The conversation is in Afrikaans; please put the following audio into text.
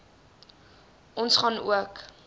ons gaan ook